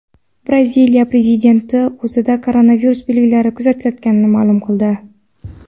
Braziliya prezidenti o‘zida koronavirus belgilari kuzatilayotganini ma’lum qildi.